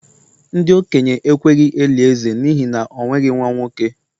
ndi-okenye ekweghi-eli eze n'ihi na o nweghi nwa-nwoke